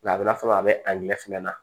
Nka a bɛna fɔ a bɛ a ɲɛ fɛnɛ na